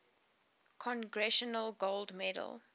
congressional gold medal